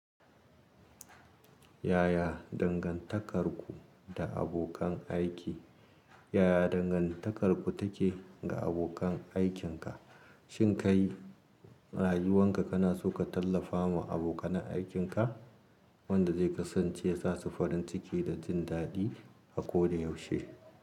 Yaya dangantakarku da abokan aiki? Yaya dangantakarku take ga abokan aikinka? Shin kai rayuwanka kana so ka tallafa ma abokan aikinka wanda zai kasance sasu farin ciki da jin daɗi a ko da yaushe.